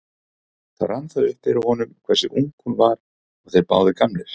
Þá rann það upp fyrir honum hversu ung hún var og þeir báðir gamlir.